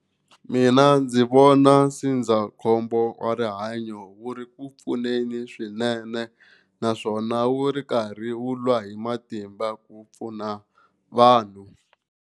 Mina ndzi vona ndzindzakhombo wa rihanyo wu ri ku pfuneni swinene naswona wu ri karhi wu lwa hi matimba ku pfuna vanhu.